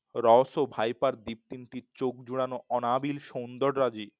রস ও ভাইপার দীপ তিনটির চোখ জোড়ানো অনাবিল সৌন্দর রাজি